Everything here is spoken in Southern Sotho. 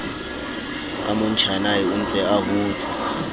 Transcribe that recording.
ka motjhanae ontse a hotse